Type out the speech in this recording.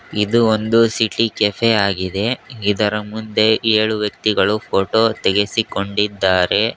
ಇದು ಒಂದು city cafe ಆಗಿದೆ ಇದರ ಮುಂದೆ ಏಳು ವ್ಯಕ್ತಿಗಳು ಫೋಟೋ ತೆಗೆಸಿಕೊಂಡಿದ್ದಾರೆ.